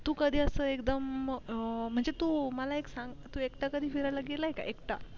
तू असं कधी एकदम म्हणजे तू मला एक सांग तू एकटा कधी फिरायला गेलया का एकटा